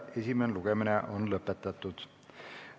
Esimene lugemine on lõpetatud.